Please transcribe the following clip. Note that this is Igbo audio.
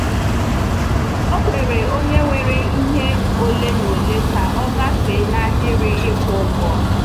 Ọ kweere onye nwere ihe ole na ole ka ọ gafee n’ahịrị ịkwụ ụgwọ.